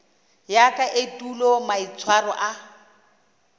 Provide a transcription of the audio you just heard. ya ka etulo maitshwaro a